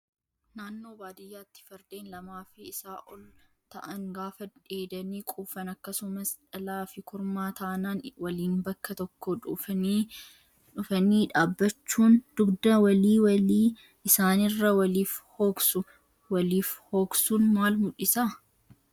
Naannoo baadiyyaatti fardeen lamaa fi isaa ol ta'an gaafa dheedanii quufan akkasumas dhalaa fi kormaa taanaan waliin bakka tokko dhufanii dhaabbachuun dugda walii walii isaaniirra waliif hooksu. Waliif hooksuun maal mul'isaa?